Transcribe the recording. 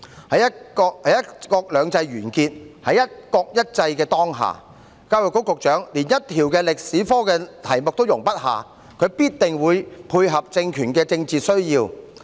在"一國兩制"完結，在"一國一制"的當下，教育局局長連一條歷史科試題也容不下，必定會配合政權的政治需要。